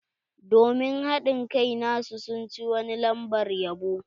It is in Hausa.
Domin hadin kai nasu, sun ci wani lambar yabo.